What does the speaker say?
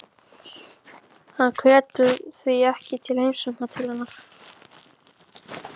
Hann hvetur því ekki til heimsókna til hennar.